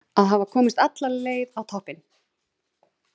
Að hafa komist alla leið á toppinn!